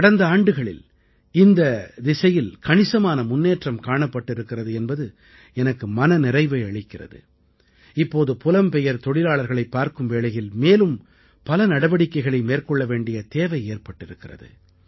கடந்த ஆண்டுகளில் இந்தத் திசையில் கணிசமான முன்னேற்றம் காணப்பட்டிருக்கிறது என்பது எனக்கு மனநிறைவை அளிக்கிறது இப்போது புலம்பெயர் தொழிலாளர்களைப் பார்க்கும் வேளையில் மேலும் பல புதிய நடவடிக்கைகளை மேற்கொள்ள வேண்டிய தேவை ஏற்பட்டிருக்கிறது